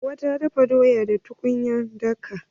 Hauwa ta dafa doya da tukunyar laka.